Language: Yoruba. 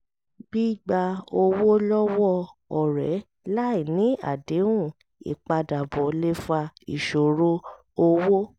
gbígba owó lọ́wọ́ ọ̀rẹ́ láì ní àdéhùn ìpadàbọ̀ lè fa ìṣòro owó